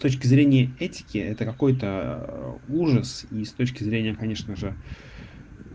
с точки зрения этики это какой-то ужас и с точки зрения конечно же